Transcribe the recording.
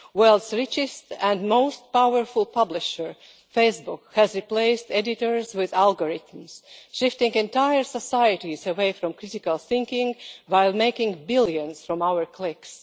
The world's richest and most powerful publisher, Facebook, has replaced editors with algorithms, shifting entire societies away from critical thinking while making billions from our clicks.